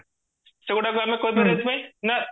ସେଗୁଡାକ ଆମେ କହି ପାରିବା ଏଇଥିପାଇଁ ନାଁ